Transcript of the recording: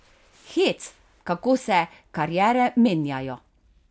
Hec, kako se kariere menjajo.